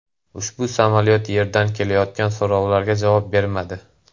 Ushbu samolyot yerdan kelayotgan so‘rovlarga javob bermadi.